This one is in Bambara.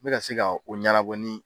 N bɛ na se ka o ɲɛnɛbɔ ni